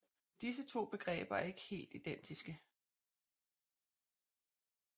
Disse to begreber er ikke helt identiske